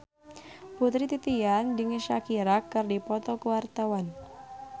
Putri Titian jeung Shakira keur dipoto ku wartawan